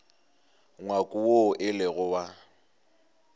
ngwako woo e lego wa